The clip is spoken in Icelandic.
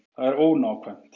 Það er ónákvæmt.